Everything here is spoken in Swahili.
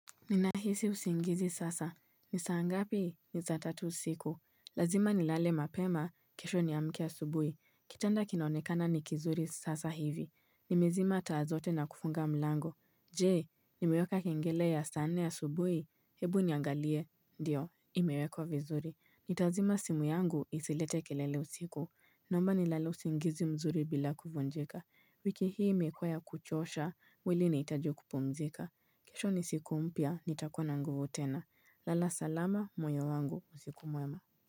Ninahisi usingizi sasa. Ni saa ngapi? Ni sa tatu usiku. Lazima nilale mapema. Kesho niamke asubuhi. Kitanda kinaonekana ni kizuri sasa hivi. Nimezima taa zote na kufunga mlango. Je, nimeweka kengele ya saa nne asubuhi? Hebu niangalie. Ndiyo, imewekwa vizuri. Nitazima simu yangu isilete kelele usiku. Naomba nilale usingizi mzuri bila kuvunjika. Wiki hii imekuwa ya kuchosha, mwili inahitaji kupumzika. Kesho ni siku mpya, nitakuwa na nguvu tena. Lala salama, moyo wangu, usiku mwema.